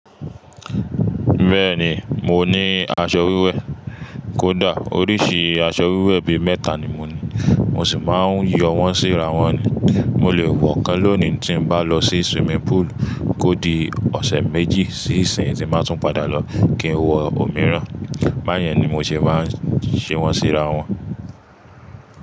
Bẹ́ẹ̀ni, mo ní aṣọ wíwẹ̀. Kódà oríṣi aṣọ wíwẹ̀ bi mẹ́ta ni mo ní. Mo sì máa ń yọ wọ́n sí ra wọn ni. Mo lè wọ̀ kan lónìí tí n bá lọ sí swimming pool kó di ọ̀sẹ̀ méjì sí ìsìn yii, tí báa tún padà lọ kí n wọ òmíràn. Báyẹn ni mo ṣe máa ń ṣe wọ́n sí ra wọn.